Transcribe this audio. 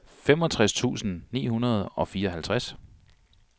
femogtres tusind ni hundrede og fireoghalvtreds